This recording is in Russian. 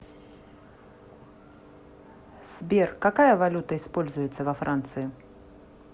сбер какая валюта используется во франции